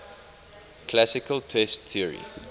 classical test theory